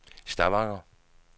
Stavanger